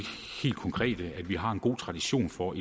helt konkrete at vi har en god tradition for